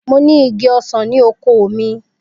Mo ni igi osan ni oko mi